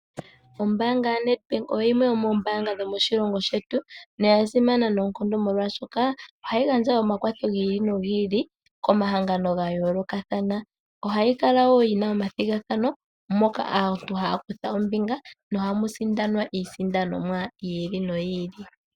Ombanga yaNedbank oyo yimwe yomoombaanga dhomoshilongo shetu noya simana noonkondo molwashoka ohayi gandja omakwatho gi ili nogi ili komahangano ga yoolokathana. Ohayi kala wo yi na omathigathano moka aantu haya kutha ombinga nohamu sindanwa iisindanomwa yi ili noyi ili.